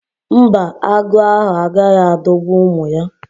Mba, agụ ahụ agaghị adọgbu ụmụ ya